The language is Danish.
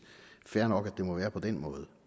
fair nok at det må være på den måde